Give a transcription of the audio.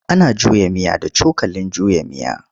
Ana juya miya da cokalin juya miya.